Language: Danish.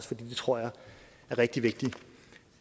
det tror jeg er rigtig vigtigt